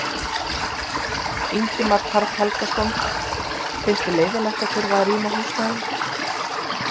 Ingimar Karl Helgason: Finnst þér leiðinlegt að þurfa að rýma húsnæðið?